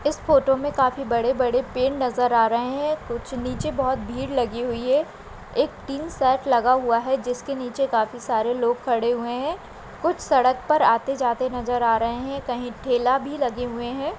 इस फोटो मे काफी बड़े-बड़े पेड़ नज़र आ रहे है कुछ नीचे बहुत भीड़ लगी हुई है एक टिन सेट हुआ है जिसके नीचे काफी सारे लोग खड़े हुए है कुछ सड़क पर आते जाते नज़र आ रहे है कही ठेला भी लगे हुए है।